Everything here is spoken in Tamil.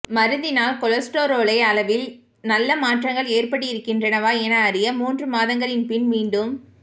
மருந்தினால் கொலஸ்டரோலை அளவில் நல்ல மாற்றங்கள் ஏற்பட்டிருக்கின்றனவா என அறிய மூன்று மாதங்களின் பின் மீண்டும்